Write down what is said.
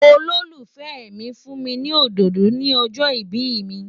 Olólùfẹ́ mi fún mi ní òdòdó ni ọjọ́ ìbí mi.